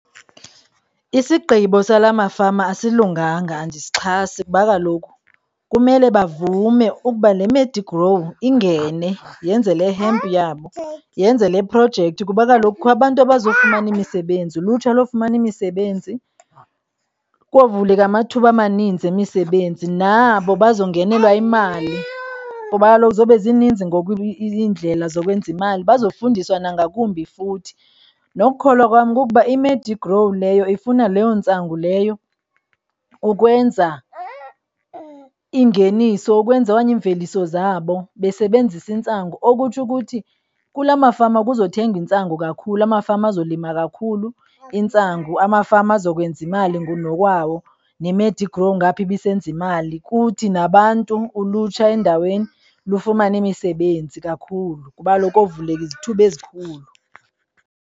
Isigqibo sala mafama asilunganga, andiyixhasi ngoba kaloku kumele bavume ukuba le Medigrow ingene yenze le hemp, yabo yenze le projekthi kuba kaloku kukho abantu abaza kufumana imisebenzi. Ulutsha lowufumana imisebenzi kovuleka amathuba amaninzi yemisebenzi, nabo bazongelwa yimali ngoba kaloku zoba zininzi ngoku iindlela zokwenza imali. Bazofundiswa nangakumbi futhi. Ngokukholwa kwam kukuba iMedigrow leyo ifuna leyo ntsangu leyo ukwenza ingeniso, ukwenza okanye iimveliso zabo besebenzisa intsangu okutsho ukuthi kula mafama kuza kuthengwa intsangu kakhulu. Amafama azolima kakhulu intsangu, amafama azokwenza imali ngokunokwawo neMedigrow ngapha ibisenza imali kuthi nabantu, ulutsha endaweni lufumane imisebenzi kakhulu, kuba kaloku kovuleleka izithuba ezikhulu